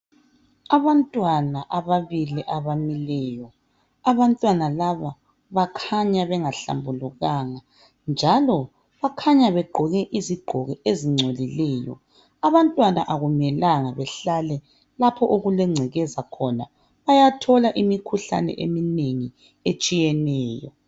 Abantwana ababili abamileyo bakhanya bengahlambulukanga. Bagqoke izigqoko ezingcolileyo. Abantwana akumelanga bahlale lapho okulengcekeza khona bayathola imikhuhlane etshiyeneyo.